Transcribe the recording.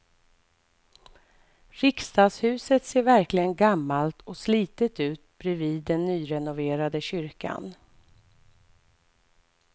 Riksdagshuset ser verkligen gammalt och slitet ut bredvid den nyrenoverade kyrkan.